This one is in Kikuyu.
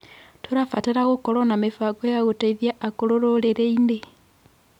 Tũrabatara gũkorwo na mĩbango ya gũteithia akũrũ rũrĩrĩ-inĩ.